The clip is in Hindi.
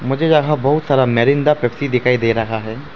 मुझे यहां बहुत सारा मेरिंडा पेप्सी दिखाई दे रहा है।